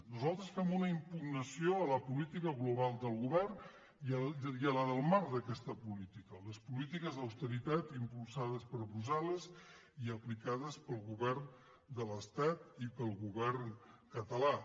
nosaltres fem una impugnació a la política global del govern i a la del marc d’aquesta política les polítiques d’austeritat im·pulsades per brussel·tat i pel govern català